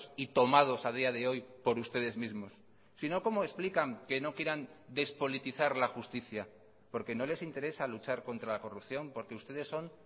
y tomados a día de hoy por ustedes mismos si no cómo explican que no quieran despolitizar la justicia porque no les interesa luchar contra la corrupción porque ustedes son